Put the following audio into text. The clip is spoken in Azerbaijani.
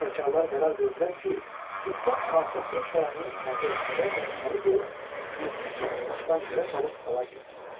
Fitnəkarlar qərar verdilər ki, sübhdən padşahlıq sarayını əhatə etsinlər və içəri girib Yusif şahı taxtdan yerə salıb həlak etsinlər.